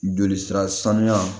Joli sira sanuya